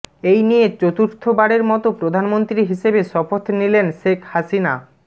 এই নিয়ে চতুর্থবারের মতো প্রধানমন্ত্রী হিসেবে শপথ নিলেন শেখ হাসিনা